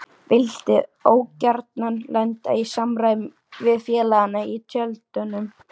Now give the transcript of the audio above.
Vildi ógjarna lenda í samræðum við félagana í tjöldunum.